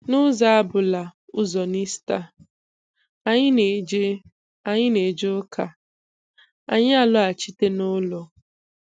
N'ụzọ abụla ụzọ n'Ista, anyị na-eje anyị na-eje ụka, anyị alọghachite n'ụlọ.